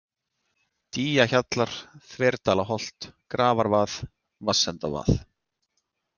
Dýjahjallar, Þverdalaholt, Grafarvað, Vatnsendavað